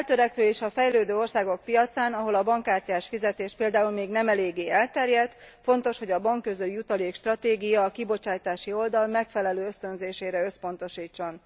A feltörekvő és a fejlődő országok piacán, ahol a bankkártyás fizetés például még nem eléggé elterjedt, fontos, hogy a bankközijutalék stratégia a kibocsátási oldal megfelelő ösztönzésére összpontosítson.